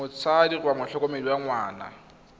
motsadi kgotsa motlhokomedi wa ngwana